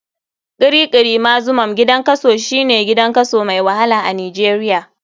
Kirikiri maximum gidan kaso, shine gidan kaso mai wahala a nijeria.